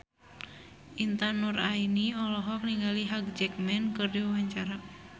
Intan Nuraini olohok ningali Hugh Jackman keur diwawancara